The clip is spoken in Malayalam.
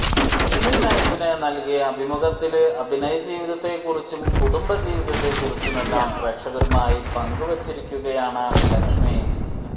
സിനി ലൈഫിന് നല്കിയ അഭിമുഖത്തില് അഭിനയ ജീവിതത്തെക്കുറിച്ചും കുടുംബ ജീവിതത്തെക്കുറിച്ചുമെല്ലാം പ്രേക്ഷകരുമായ് പങ്കുവച്ചിരിക്കുകയാണ് ലക്ഷ്മി